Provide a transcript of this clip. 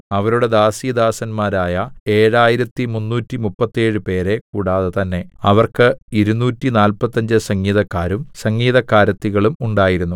അവരുടെ ദാസീദാസന്മാരായ ഏഴായിരത്തിമുന്നൂറ്റിമുപ്പത്തേഴുപേരെ കൂടാതെ തന്നെ അവർക്ക് ഇരുനൂറ്റിനാല്പത്തഞ്ച് സംഗീതക്കാരും സംഗീതക്കാരത്തികളും ഉണ്ടായിരുന്നു